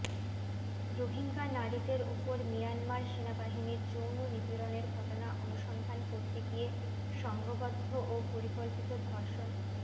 রোহিঙ্গা নারীদের ওপর মিয়ানমার সেনাবাহিনীর যৌন নিপীড়নের ঘটনা অনুসন্ধান করতে গিয়ে সংঘবদ্ধ ও পরিকল্পিত ধর্ষণ